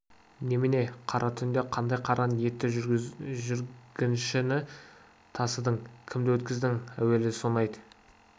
немене қара түнде қандай қара ниетті жүргіншіні тасыдың кімді өткіздің әуелі соны айт